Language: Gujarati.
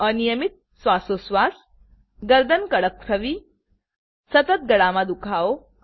અનિયમિત શ્વાસોચ્છવાસ ગરદન કડક થવી સતત ગળામા દુખાવો